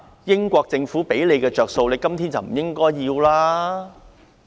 英國政府給他們的好處，他們今天不應該留戀。